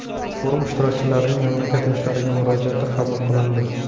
Forum ishtirokchilarining mamlakat yoshlariga murojaati qabul qilindi.